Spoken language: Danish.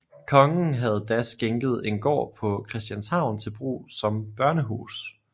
Kongen havde da skænket en gård på Christianshavn til brug som børnehus